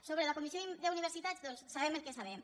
sobre la comissió d’universitats doncs sabem el que sabem